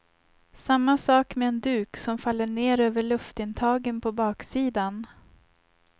Samma sak med en duk som faller ner över luftintagen på baksidan.